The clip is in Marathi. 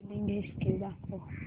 बिलिंग हिस्टरी दाखव